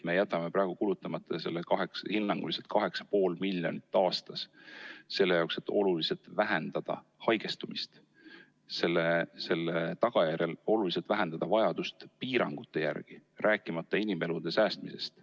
Me jätame praegu kulutamata hinnanguliselt 8,5 miljonit aastas selle jaoks, et oluliselt vähendada haigestumist ja tänu sellele ka oluliselt vähendada vajadust piirangute järele, rääkimata inimelude säästmisest.